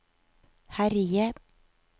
herje